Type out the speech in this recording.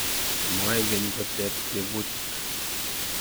Moekeny koteb tebutik